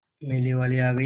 मेले वाले आ गए